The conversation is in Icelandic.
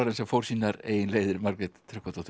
sem fór sínar eigin leiðir Margrét Tryggvadóttir